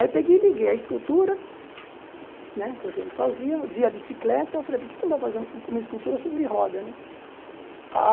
Aí peguei e liguei a escultura, né que eu sempre fazia, vi a bicicleta, e falei, por que não fazer uma escultura sobre roda né? Ah